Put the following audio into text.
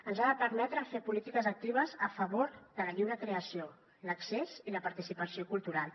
ens ha de permetre fer polítiques actives a favor de la lliure creació l’accés i la participació cultural